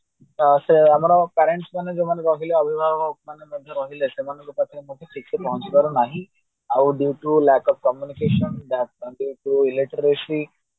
ଆମର parents ମାନେ ଯୋଉ ରହିଲେ ଆମର ଅଭିବାହକ ମାନେ ରହିଲେ ସେମାନଏନକେ ପାଖରେ ମାଢି କିଛି ପହଞ୍ଚି ପାରିଲା ନାହିଁ ଆଉ due to lack of communication